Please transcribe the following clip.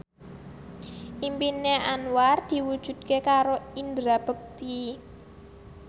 impine Anwar diwujudke karo Indra Bekti